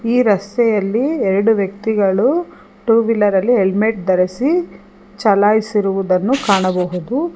ಈ ರಸ್ತೆಯಲ್ಲಿ ಎರಡು ವ್ಯಕ್ತಿಗಳು ಟು ವೀಲರ್ ಅಲ್ಲಿ ಹೆಲ್ಮೆಟ್ ಧರಿಸಿ ಚಲಾಯಿಸಿರುವುದನ್ನು ಕಾಣಬಹುದು.